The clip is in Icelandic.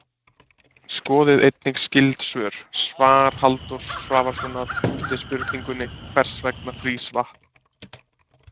Skoðið einnig skyld svör: Svar Halldórs Svavarssonar við spurningunni Hvers vegna frýs vatn?